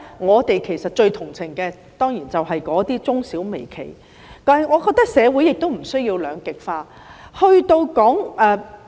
我們最同情的，當然就是那些中小微企，但我認為社會亦無須兩極化。